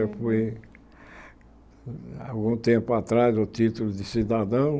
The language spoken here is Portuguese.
Eu fui, algum tempo atrás, o título de cidadão.